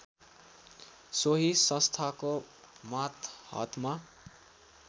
सोही संस्थाको मातहतमा